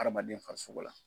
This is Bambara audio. Hadamaden farisogo la